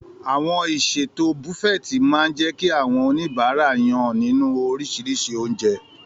Àwọn ìṣètò Buffet máa ń jẹ́ kí àwọn oníbàárà yàn nínú oríṣiríṣi oúnjẹ.